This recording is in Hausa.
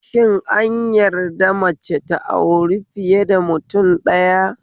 Shin an yadda da mace ta auri fiye da mutum ɗaya?